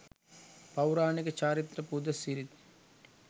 පෞරාණික චාරිත්‍ර පුද සිරිත්